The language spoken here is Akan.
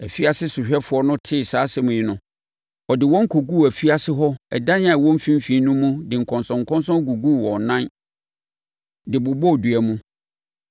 Afiase sohwɛfoɔ no tee saa asɛm yi no, ɔde wɔn kɔguu afiase hɔ dan a ɛwɔ mfimfini no mu de nkɔnsɔnkɔnsɔn guguu wɔn nan de bobɔɔ dua mu.